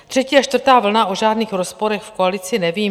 Třetí a čtvrtá vlna - o žádných rozporech v koalici nevím.